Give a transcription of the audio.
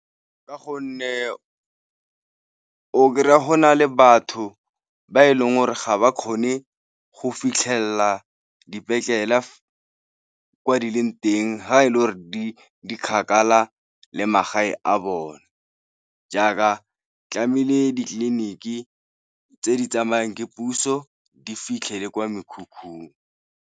Ka gonne o kry-a go na le batho ba e leng gore ga ba kgone go fitlhelela dipetlele kwa di leng teng, fa e le gore di kgakala le magae a bone jaaka tlamehile ditleliniki tse di tsamayang ke puso di fitlhe le kwa mekhukhung.